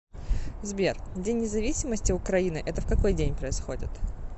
сбер день независимости украины это в какой день происходит